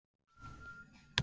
Nýr varaþingmaður